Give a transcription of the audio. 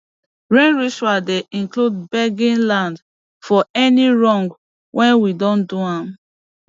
rain ritual dey include begging land for any wrong wey we do am